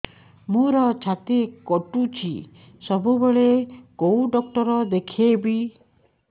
ମୋର ଛାତି କଟୁଛି ସବୁବେଳେ କୋଉ ଡକ୍ଟର ଦେଖେବି